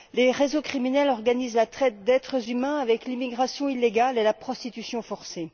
Les réseaux criminels organisent la traite d'êtres humains avec l'immigration illégale et la prostitution forcée.